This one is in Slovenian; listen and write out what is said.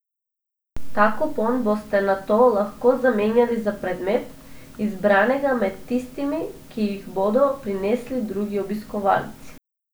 Ta kupon boste nato lahko zamenjali za predmet, izbranega med tistimi, ki jih bodo prinesli drugi obiskovalci.